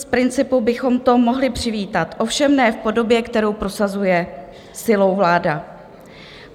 Z principu bychom to mohli přivítat, ovšem ne v podobě, kterou prosazuje silou vláda.